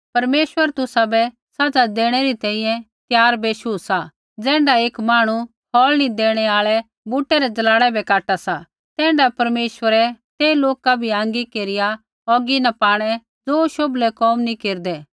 परमेश्वर तुसाबै सज़ा देणै री तैंईंयैं त्यार बेशु सा ज़ैण्ढै एक मांहणु फ़ौल़ नी देणै आल़ै बूटै रै ज़लाड़ै बै काटा सा तैण्ढाऐ परमेश्वरै ते लोका भी आँगी केरिया औगी न पाणै ज़ो शोभलै कोम नी केरदै